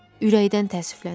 Ürəkdən təəssüflənirəm.